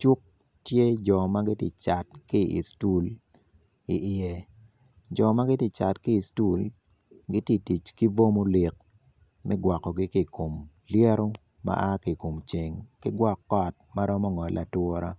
cuk tye jo magitye cat ki istool ki i ye jo magitye cat ki i stul gi titic ki bo molik megwoko ki kom lyeto ma a kikom ceng ki gwok kot maromo ngole atura.